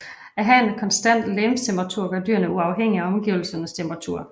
At have en konstant legemstemperatur gør dyrene uafhængige af omgivelsernes temperatur